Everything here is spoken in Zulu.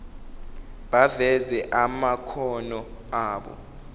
baveze amakhono abo